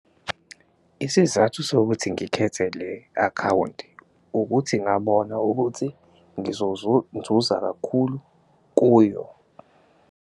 Isizathu sokuthi ngikhethe le akhawunti ukuthi ngabona ukuthi kakhulu kuyo.